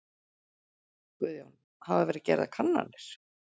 Guðjón: Hafa verið gerðar kannanir?